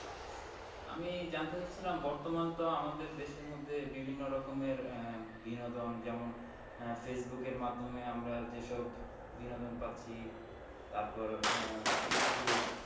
আমি জানতে চাচ্ছিলাম বর্তমান তো আমাদের দেশের মধ্যে বিভিন্ন রকমের আহ বিনোদন যেমন আহ ফেইসবুক এর মাধ্যমে আমরা যে সব বিনোদন পাচ্ছি তারপর আহ ইউটিউব